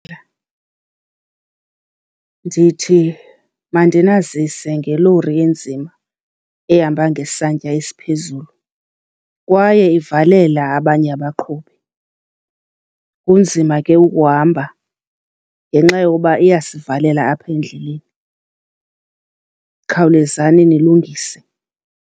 Ndithi mandinazise ngelori enzima ehamba ngesantya esiphezulu kwaye ivalela abanye abaqhubi. Kunzima ke ukuhamba ngenxa yokuba iyasivalela apha endleleni, khawulezani nilungise.